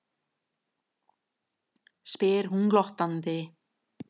spyr hún glottandi.